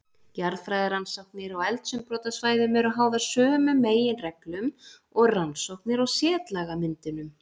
Jarðfræðirannsóknir á eldsumbrotasvæðum eru háðar sömu meginreglum og rannsóknir á setlagamyndunum.